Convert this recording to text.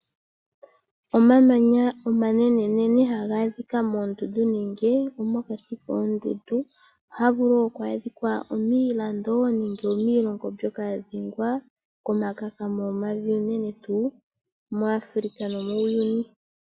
Omamanya omanene ha ga adhika moondundu nenge mokati koondundu. Oha ga vulu oku adhika miilando nenge miilongo mbyoka ya dhengwa kekakamo lyevi, unene tuu muAfrica.